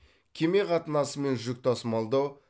кеме қатынасы мен жүк тасымалдау